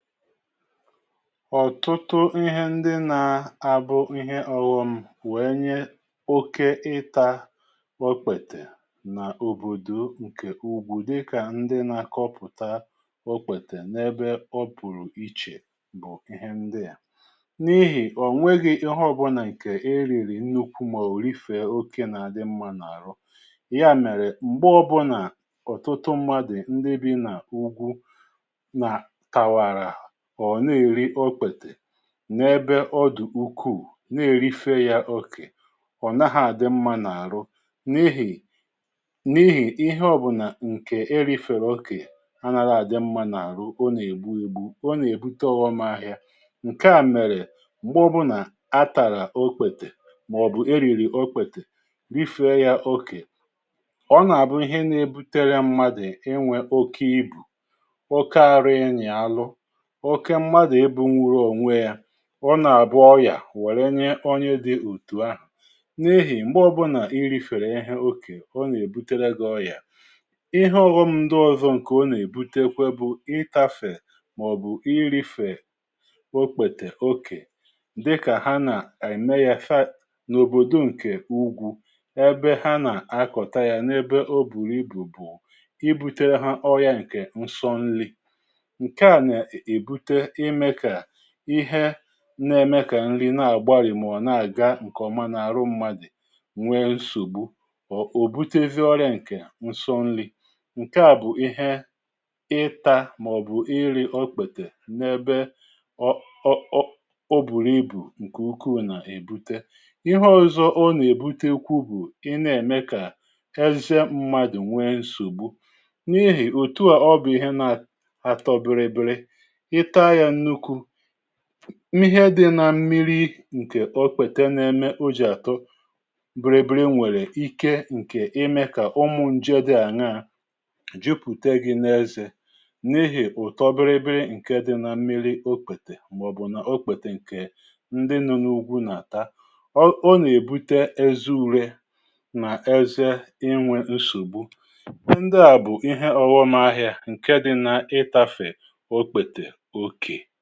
ọ̀tụtụ ihe ndị na-abụ ihe ọ̀ghụ̀m̀ wee nye oke ịtȧ okpètè nà òbòdò ǹkè úgwú di kà ndị na-akọpụ̀ta okpètè n’ebe ọ bụ̀rụ̀ ichè bụ̀ ihe ndị à n’ihì ọ̀ nweghị̇ ihe ọbụnà ǹkè e rìrì nnukwu mà òrìfè oke nà-àdị mma n’àrụ ya mèrè m̀gbe ọ̀bụnà ọ̀tụtụ mmadụ̀ ndị bi nà ugwu na tawara o nà èri okpètè n’ebe ọdụ̀ ukwuù nà èrife ya okè ọ̀ naghị̇ àdị mmȧ nà àrụ n’ihì n’ihì ihe ọ̀bụ̀nà ǹkè erifèrè okè anȧra àdị mmȧ nà àrụ ọ nà ègbu egbu ọ nà èbute ọ̀ghọm ahịa ǹkeà mèrè m̀gbè ọbụna atàrà okpètè màọ̀bụ̀ erìrì okpètè rifee ya okè ọ nà àbụ ihe nà ebutere mmadù i nwe okị ibù ọke aru i'nyì arụ oke mmadu ebuni gi onwe ya ọ nà-àbụ ọyà wèrè ye onye dị̇ òtù ahụ̀ n’ihì m̀gbè ọbụlà nrìfèrè ihe okè o nà-èbuterega ọyà ihe ọ̀ghọm ndi ọzọ ǹkè ọ nà-èbutekwe bụ̀ ịtafè màọ̀bụ̀ irifè okpètè okè dịkà ha nà-ème ya fat n’òbòdò ǹkè ugwu ebe ha nà-akọta ya n’ebe o bùrù ibù bù i butere ha ọya ǹkè nsọ nri nka na ebute ime ka ihe na-eme kà nri na-àgbarì mọ̀ na-àga ǹkèọma n’àhụ mmadụ̀ nwee nsògbu or ò butevi ọrịà ǹkè nsọ nri ǹkè a bụ̀ ihe ịtȧ màọ̀bụ̀ iri̇ ọkpètè n’ebe ọ o bùrù ibù ǹkè ukwuù nà-èbute ihe ọ̀zọ ọ nà-èbute ukwu bụ̀ ị na-ème kà ẹzẹ mmadụ̀ nwee nsògbu n’ihì otu à ọ bụ̀ ihe na atọ biribiri itaa ya n'úkwú ihe dị̇ na mmiri nkè ọkpète n’eme ojì atọ biri biri nwèrè ike nke ime kà ụmụ̀ njede di a n'ah jupute gị̇ n’ezè n’ihì ụ̀tọ biri biri nke dị̇ na mmiri okpète màọbụ̀ nà ọkpète nke ndị nụ̇ n’ugwù nà-àta ọ nà-èbute eziure nà eze inwė nsògbu ndị à bụ̀ ihe ọ̀ghọm ahịȧ, ǹke dị̇ na ịtȧfè okpete okee.